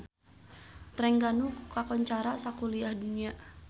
Trengganu kakoncara sakuliah dunya